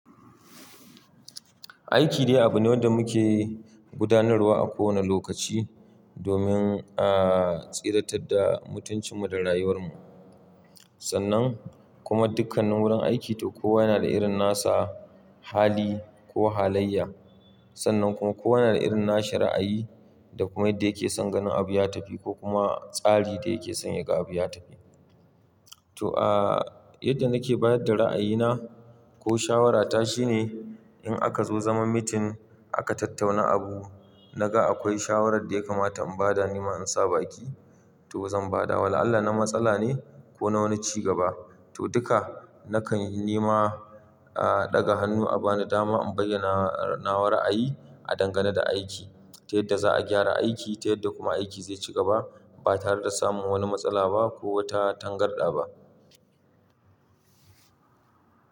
Aiki dai abu ne wanda muke gudanarwa a kowane lokaci domin a tsira ta da mutuncinmu da rayuwarmu. Sannan kuma dukkanin wurin aiki to kowa yana da irin nasa hali ko halayya. Sannan kuma kowa yana da irin nasa ra'ayi da kuma yadda yake son ganin abu ya tafi ko kuma tsari da yake son yaga abu ya tafi. To, ah, yadda nake bayar da ra'ayina ko shawarata shine in aka zo zaman meeting aka tattauna abu, naga akwai shawarar da yakamata in bada nima in saba ki, to zan bada. Wala Allah na matsala ne ko na wani cigaba. To, duka nakan nima, ah, ɗaga hannu a bani dama in bayyana nawa ra'ayi a dangane da aiki. Ta yadda za a gyara aiki, ta yadda kuma aiki zai cigaba ba tare da samun wani matsala ba ko wata tangarɗa ba.